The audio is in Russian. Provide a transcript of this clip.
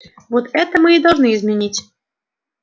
вот это мы и должны изменить